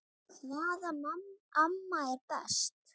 Hvaða amma er best?